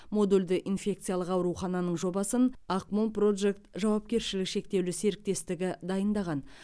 модульді инфекциялық аурухананың жобасын ақмол прожект жауапкерші шектеулі серіктесітігі дайындаған